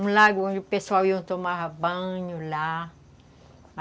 Um lago onde o pessoal ia tomar banho, lá.